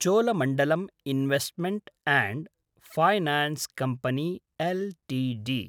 Cholamandalam investment and finance company Ltd